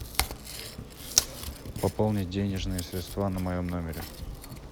пополнить денежные средства на моем номере